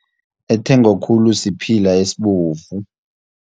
Ethengwa khulu siphila esibovu.